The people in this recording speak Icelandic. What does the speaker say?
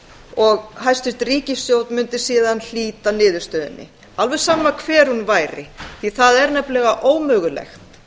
og hæstvirt ríkisstjórn mundi síðan hlíta niðurstöðunni alveg sama hver hún væri því það er náttúrlega ómögulegt